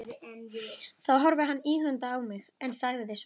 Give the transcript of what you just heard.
Þá horfði hann íhugandi á mig, en sagði svo